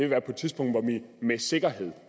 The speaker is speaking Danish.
være på et tidspunkt hvor vi med sikkerhed